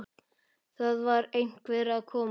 Það var einhver að koma!